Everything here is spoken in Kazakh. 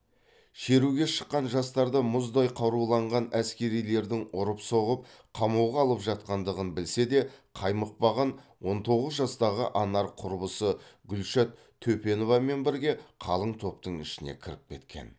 шеруге шыққан жастарды мұздай қаруланған әскерилердің ұрып соғып қамауға алып жатқандығын білсе де қаймықпаған он тоғыз жастағы анар құрбысы гүлшат төпеновамен бірге қалың топтың ішіне кіріп кеткен